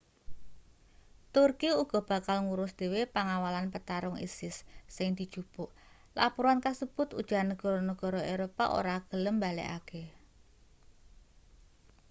turki uga bakal ngurus dhewe pangawalan petarung isis sing dijupuk lapuran kasebut ujar negara-negara eropa ora gelem mbalekake